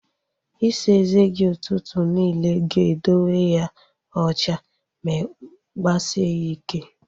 Isa eze gi ụtụtụ niile ga edowe ya ocha ma gbasie ya ịkẹ́